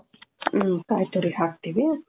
ಹ್ಮ್ ಕಾಯಿ ತೂರಿ ಹಾಕ್ತಿವಿ .